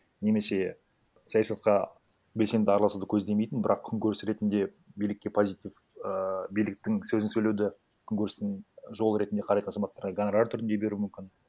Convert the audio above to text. немесе саясатқа белсенді араласуды көздемейтін бірақ күнкөріс ретінде билікке позитив ііі биліктің сөзін сөйлеуді күнкөрістің жолы ретінде қарайтын азаматтарға гонорар түрінде беруі мүмкін